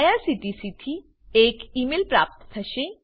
IRCTC થી એક email પ્રાપ્ત થશે